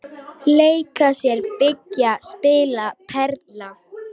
Leika sér- byggja- spila- perla